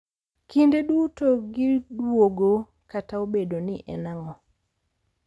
Kinde duto gidwogo kata obedo ni en ang’o.